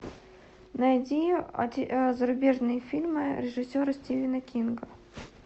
найди зарубежные фильмы режиссера стивена кинга